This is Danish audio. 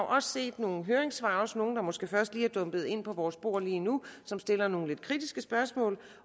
også set nogle høringssvar også nogle der måske først lige er dumpet ind på vores bord lige nu som stiller nogle lidt kritiske spørgsmål